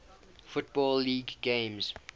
football league games